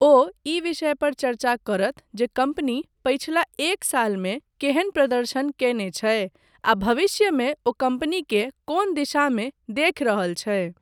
ओ ई विषय पर चर्चा करत जे कम्पनी पछिला एक सालमे केहन प्रदर्शन कयने छै आ भविष्यमे ओ कम्पनीकेँ कोन दिशामे देखि रहल छै।